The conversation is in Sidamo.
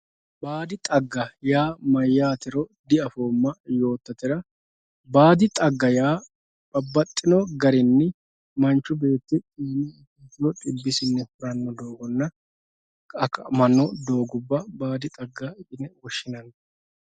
baadi xagga maatiro diafoomma yoottatera baadi xagga yaa babbaxino garinni manchi beetti babbaxino dhibbisinni huranno doogonna mannu doogubba baadi xagga yine woshshinanni